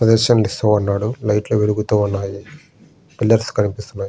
Suggestions ఇస్తా ఉన్నాడు. Light లు వెలుగుతూ ఉన్నాయి. పిల్లర్స్ కనిపిస్తున్నాయి.